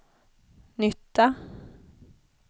nytta